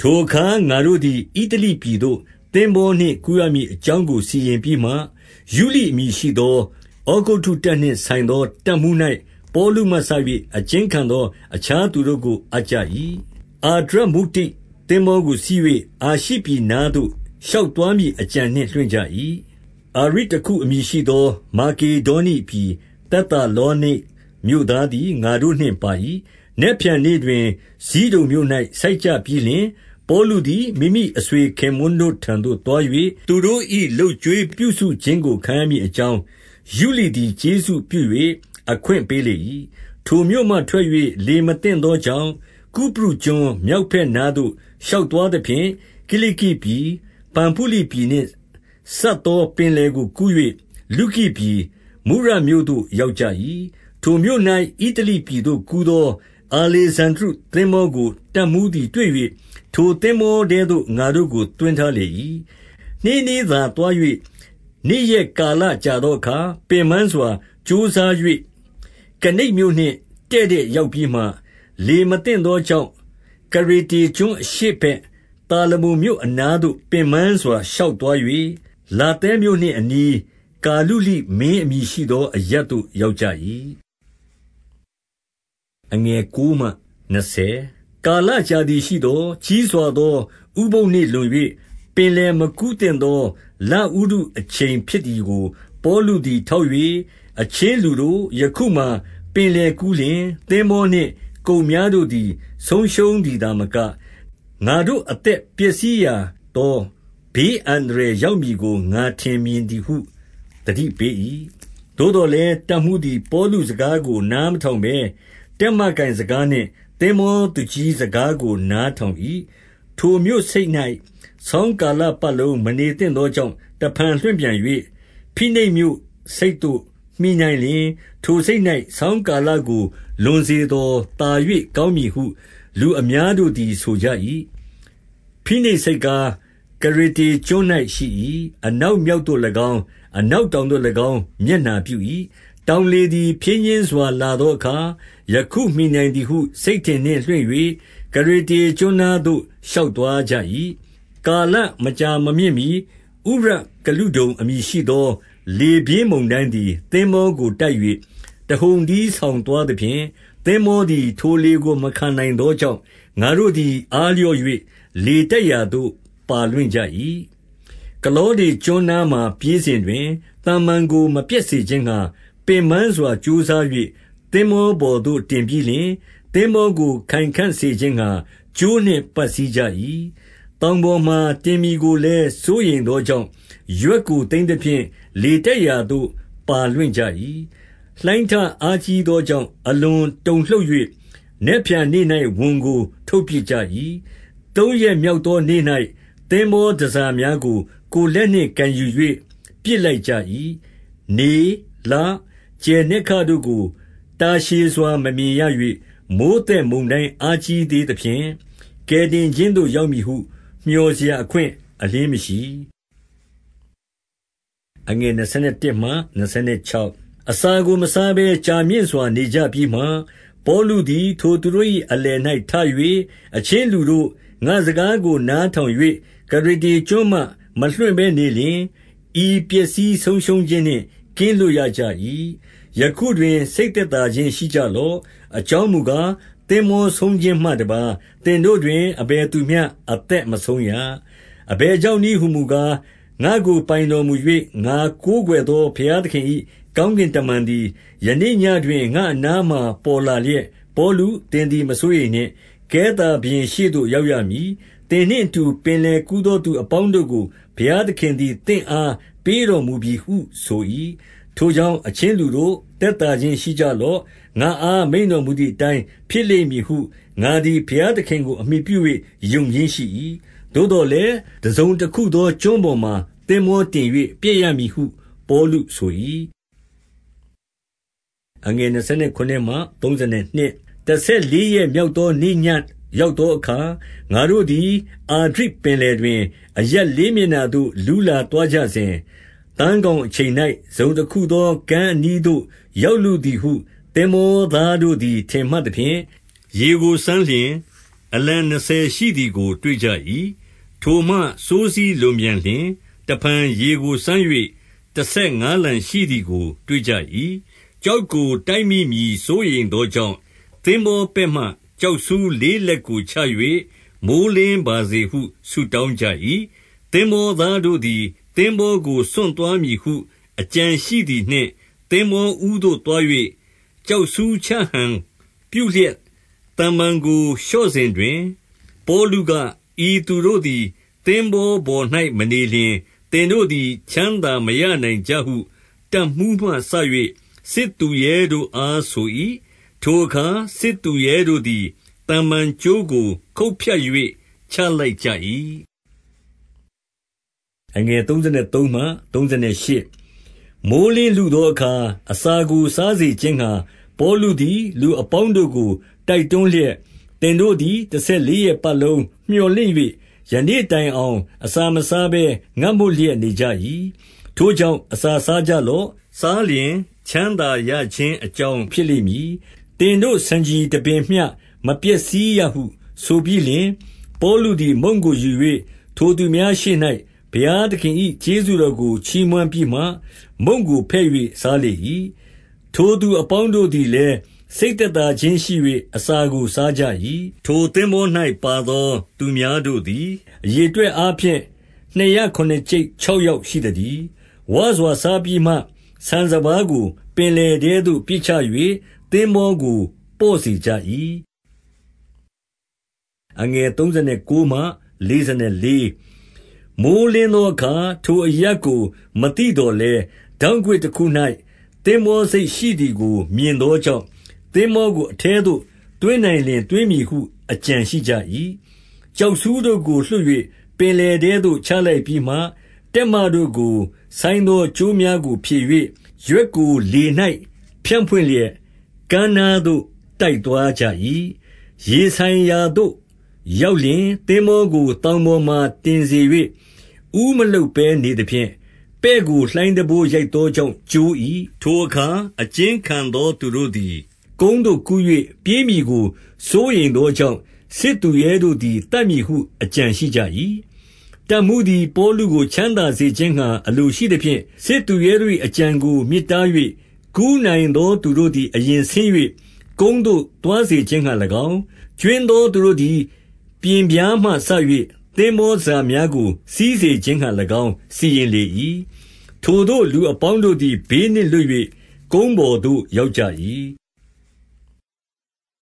ထိုအခါငါတို့သည် ဣတလိပြည်သို့သင်္ဘောနှင့် ကူးရမည့်အကြောင်းကို စီရင်ပြီးမှ၊ ယုလိအမည်ရှိသော ဩဂုတ္တုတပ်နှင်ဆိုင်သော တပ်မှူး၌ ပေါလုမှစ၍ အကျဉ်းခံသောအခြားသူတို့ကို အပ်ကြ၏။ 2 အာဒြမုတ္တိ သင်္ဘောကိုစီး၍ အာရှိပြည်နားသို့ ရှောက်သွားမည်အကြံနှင့် လွှင့်ကြ၏။ အာရိတ္တခု အမည်ရှိသော မာကေဒါနိပြည်သက် သာလောနိတ် မြို့သားသည် ငါတို့နှင့်ပါ၏။ 3 နက်ဖြန်နေ့တွင် ဇိဒုန်မြို့၌ဆိုက်ကြပြီးလျှင်၊ ပေါလုသည် မိမိအဆွေခင်ပွန်းတို့ထံသို့သွား၍ သူတို့၏ လုပ်ကျွေးပြုစခြင်းကို ခံရမည်အကြောင်း၊ ယုလိသည် ကျေးဇူးပြု၍ အခွင့်ပေးလေ၏။ 4 ထိုမြို့မှထွက်၍ လေမသင့်သောကြောင့်၊ ကုပရုကျွန်းမြောက်ဘက်နားသို့ရှောက်သွားသဖြင့် ကိလိကိပြည်၊ 5 ပဖုလိပြည်နှင့် စပ်သောပင်လယ်ကိုကူး၍၊ လုကိုပြည်၊ မုရမြို့သို့ ရောက်ကြ၏။ 6 ထိုမြို့၌ ဣတလိပြည်သို့ ကူးသော အာလေဇန္ဒြိ သင်္ဘောကို တပ်မှူးသည်တွေ့၍၊ ထိုသင်္ဘောထဲသို့ ငါတို့ကို သွင်းထားလေ၏။ 7 နှေးနှေးသာသွား၍ နေ့ရက်ကာလကြာသောအခါ၊ ပင်ပန်းစွာ ကြိုးစား၍ ကနိဒ်မြို့နှင့်တည့်တည့်ရောက်ပြီးမှ၊ လေမသင့်သောကြောင့် ကရေတေကျွန်း အရှေ့ဘက်၊ သာလမုန်မြို့ အနားသို့ ပင်ပန်းစွာ ရှောက် သွား၍၊ 8 လာသဲမြို့နှင့်အနီး၊ ကာလုလိမင်းအမည်ရှိသော အရပ်သို့ ရောက်ကြ၏။ 9 ကာလကြာသည်ရှိသော်၊ ကြီးစွာသောဥပုသ်နေ့လွန်၍ ပင်လယ်မကူးသင့်သောလဥတုအချိန်ဖြစ်သည် ကို ပေါလုသည် ထောက်၍၊ 10 အချင်းလူတို့၊ ယခုမှာပင်လယ်ကူးလျှင် သင်္ဘော နှင့်ကုန်များတို့သည် ဆုံးရှုံးသည်သာမက၊ ငါတို့ အသက် ပျက်စီးရာသော ဘေးအန္တရာယ်ရောက်မည်ကို ငါထင်မြင်သည်ဟု သတိပေး၏။ 11 သို့သော်လည်း၊ တပ်မှူးသည်ပေါလုစကားကို နားမထောင်ဘဲ၊ တက်မကိုင်စကားနှင့်သင်္ဘောသူကြီး စကားကိုနားထောင်၏။ 12 ထိုမြို့ဆိပ်၌ ဆောင်းကာလပတ်လုံး မနေသင့် သောကြောင့် တဖန်လွှတ်ပြန်၍ ဖိနိတ်မြို့ဆိပ်သို့မှီနိုင် လျှင်၊ ထိုဆိပ်၌ ဆောင်းကာလကို လွန်စေသော်သာ၍ ကောင်းမည်ဟု လူအများတို့သည် ဆိုကြ၏။ ဖိနိတ် ဆိပ်ကားကရေတေကျွန်း၌ ရှိ၏။ အနောက်မြောက်သို့ ၎င်း၊ အနောက်တောင်သို့၎င်း မျက်နှာပြု၏။ 13 ထောင်လေသည်ဖြည်းညှင်းစွာလာသောအခါ၊ ယခုမှီနိုင်သည်ဟု စိတ်ထင်နှင့်လွှင့်၍၊ ကရေတေ ကျွန်းနားသို့ ရှောက်သွားကြ၏။ 14 ကာလမကြာမမြင့်မှီ ဥရုကလုဒုန် အမည်ရှိ သော လေပြင်း မုန်တိုင်းသည်သင်္ဘောကို တိုက်၍၊ 15 တဟုန်တည်းဆောင်သွားသဖြင့်၊ သင်္ဘေားသည် ထိုလေကိုမခံ နိုင်သောကြောင့်၊ ငါတို့သည် အားလျော့၍ လေတိုက်ရာသို့ ပါလွင့်ကြ၏။ 16 ကလောဒကျွန်းနားမှာ ပြေးစဉ်တွင်၊ သမ္မန်ကို မပျက်စေခြင်းငှါ ပင်ပန်းစွာ ကြိုးစား၍၊ 17 သင်္ဘောပေါ်သို့ တင်ပြီးလျှင်၊ သင်္ဘောကိုခိုင်ခံ့စေခြင်းငှါ ကြိုးနှင့်ပတ်စည်းကြ၏။ သောင်ပေါ်မှာ တင်မည်ကိုလည်း စိုးရိမ်သောကြောင့် ရွက်ကိုသိမ်းသဖြင့် လေတိုက်ရာသို့ပါလွင့်ကြ၏။ 18 လှိုင်းထအားကြီးသောကြောင့် အလွန်တုန်လှုပ်၍၊ နက်ဖြန်နေ့၌ ဝန်ကိုထုတ်ပစ်ကြ၏။ 19 သုံးရက်မြောက်သောနေ့၌ သင်္ဘောတန်ဆာများကို ကိုယ်လက်နှင့်ကိုယ်ယူ၍ ပစ်လိုက်ကြ၏။ 20 နေ၊ လ၊ ကြယ်နက္ခတ်တို့ကို တာရှည်စွာ မမြင်ရ၍ မိုဃ်းသက်မုန်တိုင်း အားကြီးသေးသဖြင့်၊ ကယ်တင် ခြင်းသို့ ရောက်မည်ဟု မြော်စရာ အခွင့်အလျှင်းမရှိ။ 21 အစာကိုမစားဘဲကြာမြင့်စွာ နေကြပြီးမှ၊ ပေါလုသည် ထိုသူတို့၏ အလယ်၌ထ၍၊ အချင်းလူတို့၊ ငါစကားကို နားထောင်၍ ကရေတေကျွန်းမှ မလွှင့်ဘဲနေလျှင် ဤပျက်စီးဆုံးရှုံးခြင်းနှင့် ကင်းလွတ်ရကြ၏။ 22 ယခုတွင် စိတ်သက်သာခြင်း ရှိကြလော့။ အကြောင်းမူကား၊ သင်္ဘောဆုံးခြင်းမှတပါးသင်တို့တွင် အဘယ်သူမျှ အသက်မဆုံးရ၊ 23 အဘယ်ကြောင့်နည်းဟူမူကား၊ ငါ့ကိုပိုင်တော် မူ၍၊ ငါကိုးကွယ်သော ဘုရားသခင်၏ ကောင်းကင် တမန်သည် ယနေ့ညဉ့်တွင် ငါ့အနားမှာ ပေါ်လာလျက်၊ 24 ပေါလု၊ သင်သည် မစိုးရိမ်နှင့်။ ကဲသာဘုရင် ရှေ့သို့ ရောက်ရမည်။ သင်နှင့်အတူ ပင်လယ်ကူးသော သူအပေါင်းတို့ကို ဘုရားသခင်သည် သင့်အားပေးတော် မူပြီဟု ဆို၏။ 25 ထိုကြောင့်အချင်းလူတို့ သက်သေခြင်း ရှိကြ လော့။ ငါ့အား မိန့်တော်မူသည်အတိုင်းဖြစ်လိမ့်မည်ဟု ငါသည်ဘုရားသခင်ကို အမှီပြု၍ ယုံခြင်းရှိ၏။ 26 သို့သော်လည်းတစုံတခုသောကျွန်းပေါ်မှာ သင်္ဘောတင်၍ ပျက်ရမည်ဟုပေါလုဆို၏။ 27 တဆယ်လေးရက်မြောက်သောနေ့ ညဉ့်ရောက် သောအခါ၊ ငါတို့သည် အာဒြိပင်လယ်တွင် အရပ် လေးမျက်နှာသို့ လူးလာသွားကြစဉ်၊ သန်းခေါင်အချိန်၌ တစုံတခုသော ကမ်းအနီးသို့ ရောက်လုသည်ဟု သင်္ဘော သားတို့သည် ထင်မှတ်သဖြင့်၊ 28 ရေကိုစမ်းလျှင် အလံနှစ်ဆယ်ရှိသည်ကို တွေ့ကြ၏။ ထိုမှစိုးစည်းလွန်ပြန်လျှင်၊ တဖန်ရေကိုစမ်း၍ တဆယ်ငါးလံရှိသည်ကို တွေ့ကြ၏။ 29 ကျောက်ကို တိုက်မိမည်စိုးရိမ်သောကြောင့် သင်္ဘောပဲ့မှ ကျောက်ဆူးလေးလက်ကို ချ၍မိုဃ်းလင်းပါ စေဟု ဆုတောင်းကြ၏။ 30 သင်္ဘောသားတို့သည် သင်္ဘောကို စွန့်သွားမည် ဟု အကြံရှိသည်နှင့်သင်္ဘောဦးသို့သွား၍ ကျောက်ဆူး ချဟန်ပြုလျက် သမ္မန်ကိုလျှော့စဉ်တွင်၊ 31 ပေါလုက၊ ဤသူတို့သည် သင်္ဘောပေါ်၌ မနေလျှင် သင်တို့သည် ချမ်းသာမရနိုင်ကြဟု တပ်မှူးမှ စ၍ စစ်သူရဲတို့အား ဆို၏။ 32 ထိုအခါ စစ်သူရဲတို့သည် သမ္မန်ကြိုးကို ခုတ်ဖြတ် ၍ ချလိုက်ကြ၏။ 33 မိုဃ်းလင်းလုသောအခါ အစာကိုစားစေခြင်းငှါ ပေါလုသည် လူအပေါင်းတို့ကိုတိုက်တွန်းလျက်၊ သင်တို့ သည် တဆယ်လေးရက်ပတ်လုံး မြော်လင့်၍ ယနေ့ တိုင်အောင်အစာမစားဘဲ ငတ်မွတ်လျက်နေကြ၏။ 34 ထိုကြောင့်အစာစားကြလော့။ စားလျှင်ချမ်းသာ ရခြင်းအကြောင်း ဖြစ်လိမ့်မည်။ 35 သင်တို့ဆံခြည်တပင်မျှ မပျက်စီးရဟုဆိုပြီးလျှင်၊ ပေါလုသည် မုန့်ကိုယူ၍ ထိုသူများရှေ့၌ ဘုရားသခင်၏ ကျေးဇူးတော်ကို ချီးမွမ်းပြီး မှ မုန့်ကိုဖဲ့၍ စားလေ၏။ 36 ထိုသူအပေါင်းတို့သည်လည်း စိတ်သက်သာ ခြင်းရှိ၍ အစာကို စားကြ၏။ 37 ထိုသင်္ဘော၌ပါသော သူများတို့သည် အရေ အတွက်အားဖြင့် နှစ်ရာခုနစ်ကျိပ်ခြောက်ယောက် ရှိသတည်း။ 38 ဝစွာစားပြီးမှ ဆန်စပါးကိုပင်လယ်ထဲသို့ ပစ်ချ၍ သင်္ဘောကို ပေါ့စေကြ၏။ 39 မိုဃ်းလင်းသောအခါ ထိုအရပ်ကို မသိသော် လည်း၊ ထောင်ကွေ့တခု၌သင်္ဘောဆိပ်ရှိသည်ကို မြင်သောကြောင့်၊ သင်္ဘောကို အထဲသို့ သွင်းနိုင်လျှင် သွင်းမည်ဟု အကြံရှိကြ၏။ 40 ကျောက်ဆူးတို့ကို လွှတ်၍ ပင်လယ်ထဲသို့ ချလိုက်ပြီးမှ တက်မတို့ကို ဆိုင်းသောကြိုးများကို ဖြည်၍၊ ရွက်ကိုလေ၌ဖြန့်ဖွင့်လျက် ကမ်းနားသို့ တိုက်သွားကြ၏။ 41 ရေဆိုင်ရာသို့ရောက်လျှင်၊ သင်္ဘောကို သောင်ပေါ်မှာ တင်စေ၍ ဦးမလှုပ်ဘဲနေသဖြင့် ပဲ့ကိုလှိုင်းတံပိုး ရိုက်သောကြောင့် ကျိုး၏။ 42 ထိုအခါ အကျဉ်းခံသောသူတို့သည် ကုန်းသို့ ကူး၍ ပြေးမည်ကို စိုးရိမ်သောကြောင့် စစ်သူရဲတို့သည် သတ်မည်ဟုအကြံရှိကြ၏။ 43 တပ်မှူးသည်ပေါလုကို ချမ်းသာစေခြင်းငှါ အလို ရှိသဖြင့်၊ စစ်သူရဲတို့၏အကြံကိုမြစ်တား၍၊ ကူးနိုင်သော သူတို့သည် အရင်ဆင်း၍ ကုန်းသို့ သွားစေခြင်းငှါ၎င်း၊ 44 ကြွင်းသောသူတို့သည် ပျဉ်ပြားမှစ၍ သင်္ဘော တန်ဆာများကို စီးစေခြင်းငှါ၎င်း၊ စီရင်လေ၏။ ထိုသို့ လူအပေါင်းတို့သည် ဘေးနှင့်လွတ်၍ ကုန်းပေါ်သို့ ရောက်ကြ၏။